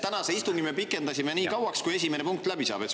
Tänast istungit me pikendasime nii kauaks, kuni esimene punkt läbi saab.